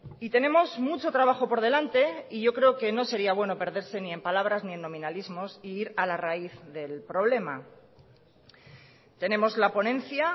y tenemos mucho trabajo por delante y yo creo que no sería bueno perderse ni en palabras ni en nominalismos e ir a la raíz del problema tenemos la ponencia